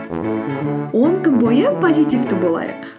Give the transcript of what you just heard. он күн бойы позитивті болайық